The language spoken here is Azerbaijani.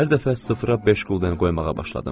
Hər dəfə sıfıra beş qulden qoymağa başladım.